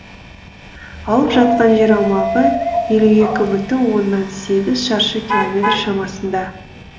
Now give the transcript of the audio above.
алып жатқан жер аумағы елу екі бүтін оннан сегіз шаршы километр шамасында